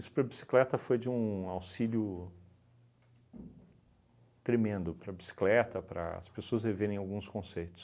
Isso para a bicicleta foi de um auxílio tremendo para a bicicleta, para as pessoas reverem alguns conceitos.